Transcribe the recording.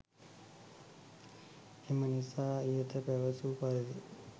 එම නිසා ඉහත පැවැසූ පරිදි